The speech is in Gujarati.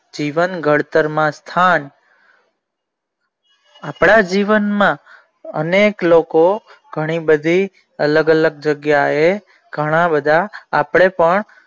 જીવન ખડતરમાં ખંડ આપણા જીવન માં અનેક લોકો ઘણી બધી અલગ અલગ જગ્યા એ ઘણા બધા આપણે પણ.